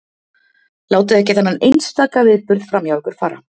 Látið ekki þennan einstaka viðburð framhjá ykkur fara.